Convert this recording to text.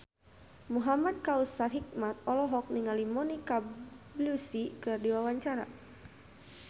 Muhamad Kautsar Hikmat olohok ningali Monica Belluci keur diwawancara